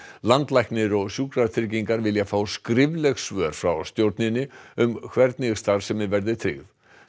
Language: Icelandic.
landlæknir og Sjúkratryggingar vilja fá skrifleg svör frá stjórninni um hvernig starfsemi verði tryggð